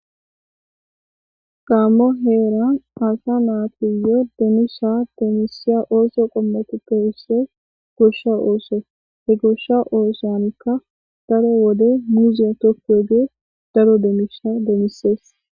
Gaammo heeran asa naatiyo demisha demisiya ooso qommati kewusse goshsha ooso he goshsha oosankka daro wode miziya tokku eggee daro demisha demisees.